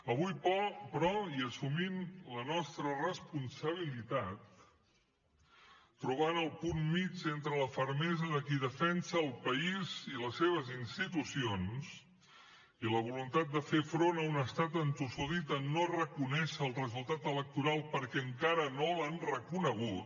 avui però i assumint la nostra responsabilitat trobant el punt mig entre la fermesa de qui defensa el país i les seves institucions i la voluntat de fer front a un estat entossudit en no reconèixer el resultat electoral perquè encara no l’han reconegut